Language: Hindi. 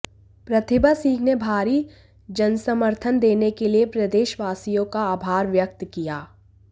प्रतिभा सिंह ने भारी जनसमर्थन देने के लिए प्रदेशवासियों का आभार व्यक्त किया